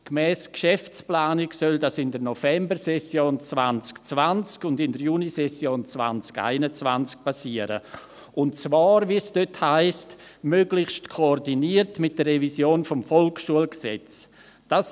Gemäss Geschäftsplanung soll dies in der Novembersession 2020 und in der Junisession 2021 geschehen und zwar, wie es dort heisst, möglichst koordiniert mit der Revision des Volksschulgesetzes (VSG).